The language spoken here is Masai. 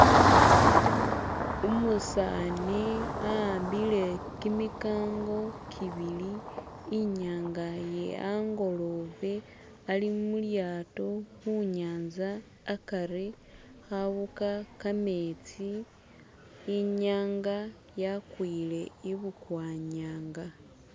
Umusani ahambile kiMIkango kibili inyanga ye angolobe ali mulyato khunyanza akari awuga khametsi inyanga yakwile ibukwanyanga